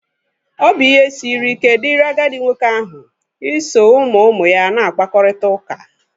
Ọ bụ ihe siri ike dịrị agadi nwoke ahụ iso ụmụ ụmụ ya na-akpakọrịta ụka.